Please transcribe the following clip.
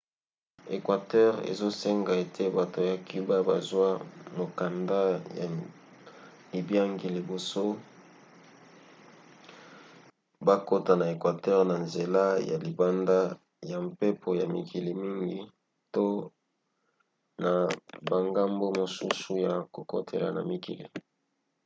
équateur ezosenga ete bato ya cuba bazwa mokanda ya libiangi liboso bakota na équateur na nzela ya libanda ya mpepo ya mikili mingi to na bangambo mosusu ya kokotela na mikili